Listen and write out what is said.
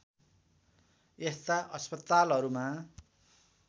यस्ता अस्पतालहरूमा